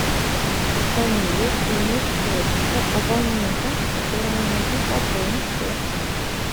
фамилия имя отчество абонента которому нужно пополнить счет